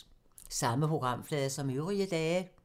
Samme programflade som øvrige dage